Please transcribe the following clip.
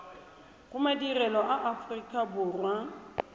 go madirelo a aforika borwa